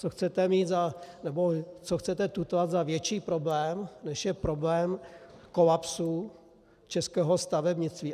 Co chcete tutlat za větší problém, než je problém kolapsu českého stavebnictví?